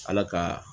Ala ka